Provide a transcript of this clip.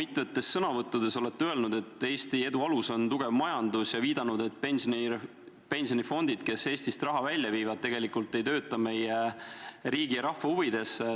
Olete mitmes sõnavõtus öelnud, et Eesti edu alus on tugev majandus, ja viidanud, et pensionifondid, mis Eestist raha välja viivad, tegelikult ei tööta meie riigi ja rahva huvides.